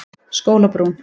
Skólabrún